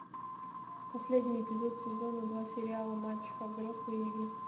последний эпизод сезона два сериала мачеха взрослые игры